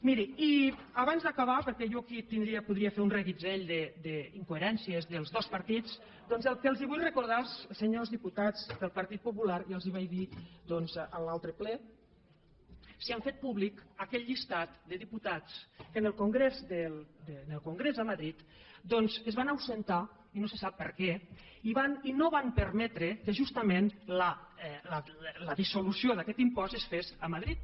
miri i abans d’acabar perquè jo aquí podria fer un reguitzell d’incoherències dels dos partits doncs el que els vull recordar als senyors diputats del partit popular ja els ho vaig dir doncs en l’altre ple és si han fet públic aquell llistat de diputats que en el congrés a madrid es van absentar i no se sap per què i no van permetre que justament la dissolució d’aquest impost es fes a madrid